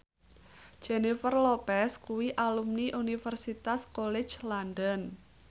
Jennifer Lopez kuwi alumni Universitas College London